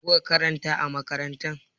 Me kuka karanta a makarantar?